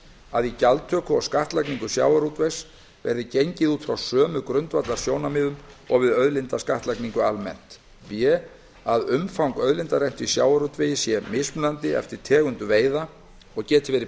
að í gjaldtöku og skattlagningu sjávarútvegs verði gengið út frá sömu grundvallarsjónarmiðum og við auðlindaskattlagningu almennt b að umfang auðlindarentu í sjávarútvegi sé mismunandi eftir tegund veiða og geti verið